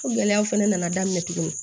gɛlɛyaw fɛnɛ nana daminɛ tugunni